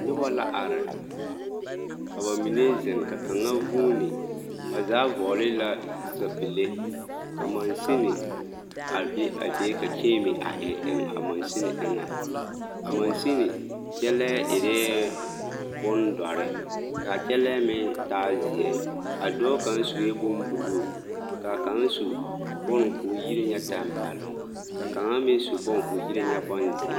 Nobɔ la are ka bamine zeŋ ka kaŋa vuuni, ba zaa vɔɔle la sapile ka mansini a be a be ka kyeeme a e eŋ a mansini eŋɛ, a mansini kyɛlɛɛ erɛɛ bondɔre k'a kyɛlɛɛ meŋ taa zeɛ, a dɔɔ kaŋ sue bone buluu ka kaŋa su bone k'o yire ŋa tɛmpɛloŋ ka kaŋa meŋ su bone k'o yire ŋa bonzeɛ.